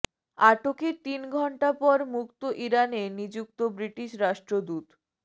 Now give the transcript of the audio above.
আটকের তিন ঘণ্টা পর মুক্ত ইরানে নিযুক্ত ব্রিটিশ রাষ্ট্রদূত